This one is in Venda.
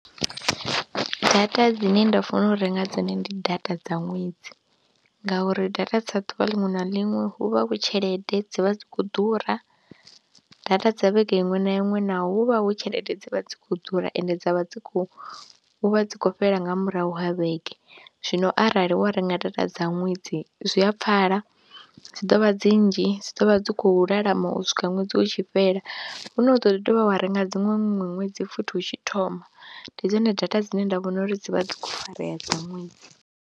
Data dzine nda fanela u renga dzone ndi data dza ṅwedzi ngauri data dza ḓuvha ḽiṅwe na ḽiṅwe hu vha hu tshelede, dzi vha dzi khou ḓura, data dza vhege iṅwe na iṅwe naho hu vha hu tshelede dzi vha dzi khou ḓura ende dza vha dzi khou vha dzi khou fhela nga murahu ha vhege, zwino arali wa renga data dza ṅwedzi zwi a pfhala dzi ḓo vha dzi nnzhi, dzi ḓo vha dzi khou lalama u swika ṅwedzi u tshi fhela, hu no ri ḓo ḓi dovha wa renga dziṅwe ṅwedzi futhi u tshi thoma, ndi dzone data dzine nda vhona uri dzi vha dzi khou farea dza ṅwedzi.